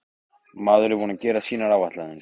Maður er búinn að gera sínar áætlanir.